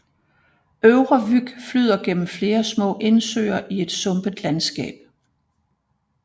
Øvre Vyg flyder gennem flere små indsøer i et sumpet landskab